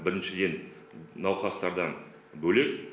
біріншіден науқастардан бөлек